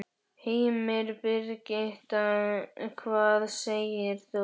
Heimir: Birgitta, hvað segir þú?